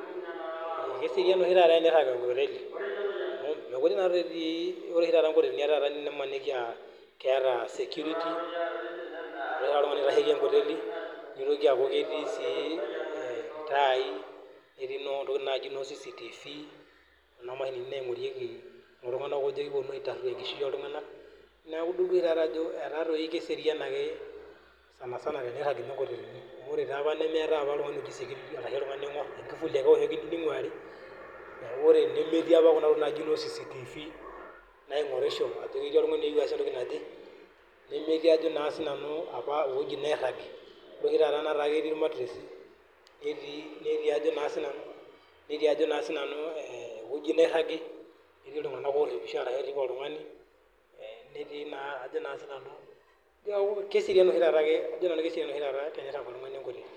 Keserian oshi taata tenirag enkoteli amu ore oshi taata enkotelini naa keeta security keeta oltung'ani oitasheki enkoteli netii sii ilntai netii entokitin naaji noo CCTV Kuna mashinini naingorieki iltung'ana oingorieki iltung'ana ojo mayetu aitaruo enkishui oltung'ana neeku edol Ajo etaa doi keserian enkop keserian ake sanisani tenirag nkotelini amu ore apa neetae oltung'ani oingor enkifuli ake epiki minguarii neeku ore tenemetii apa Nena tokitin najii noo CCTV naingorisho Ajo ketii oltung'ani ositaa entoki naje nemetii naa ewuejitin niragi ore oshi taata naa ketii irmatiresi netii ewueji niragi netii iltung'ana oripisho neeku kajo Nanu keserian oshi taata tenirag oltung'ani enkoteli